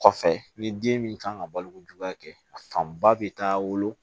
Kɔfɛ ni den min kan ka balo kojugu kɛ a fanba bɛ taa wolo